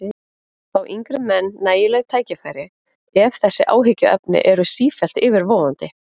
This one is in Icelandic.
Fá yngri menn nægileg tækifæri ef þessi áhyggjuefni eru sífellt yfirvofandi?